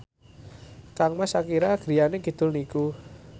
kangmas Shakira griyane kidul niku